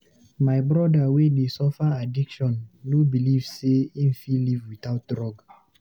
My broda wey dey suffer addiction no beliv sey him fit live witout drug.